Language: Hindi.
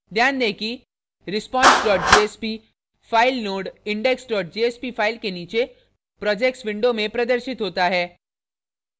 ध्यान दें कि response jsp file node index jsp file के नीचे projects window में प्रदर्शित होता है